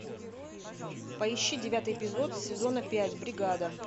поищи девятый эпизод сезона пять бригада